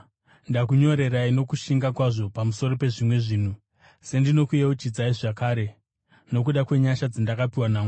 Ndakunyorerai nokushinga kwazvo pamusoro pezvimwe zvinhu, sendinokuyeuchidzai zvakare, nokuda kwenyasha dzandakapiwa naMwari